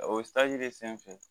O de senfɛ